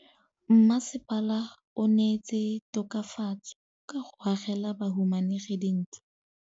Mmasepala o neetse tokafatsô ka go agela bahumanegi dintlo.